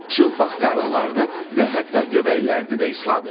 Çılpaq qarınlarını və hətta göbəklərini də isladır.